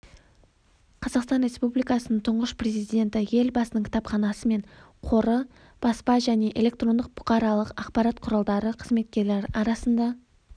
қазақстан республикасының тұңғыш президенті елбасының кітапханасы мен қоры баспа және электрондық бұқаралық ақпарат құралдары қызметкерлері арасында